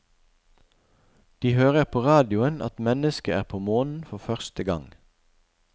De hører på radioen at mennesket er på månen for første gang.